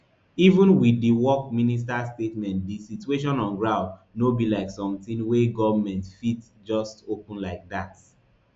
even wit di work minister statement di situation on ground no be like sometin wey goment fit just open like dat